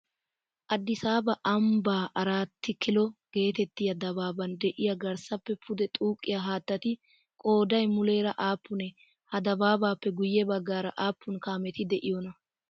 Addisaaba ambbaa arati kilo geetettiyaa dabaaban de'iyaa garssappe pude xuuqqiyaa haattati qoodayi muleera aappunee? Ha dabaabaappe guyye baaggara aappun kaameti de'iyoonaa?